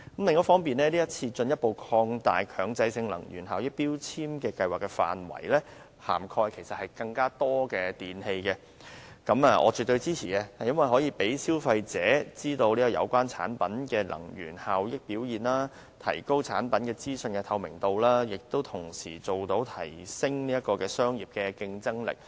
另外，這次進一步擴大強制性標籤計劃的範圍，涵蓋更多電器，我絕對支持，因為可以讓消費者知道有關產品的能源效益表現，提高產品資訊的透明度，亦同時提升商品的競爭力。